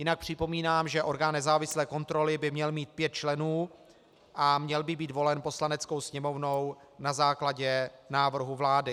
Jinak připomínám, že orgán nezávislé kontroly by měl mít pět členů a měl by být volen Poslaneckou sněmovnou na základě návrhu vlády.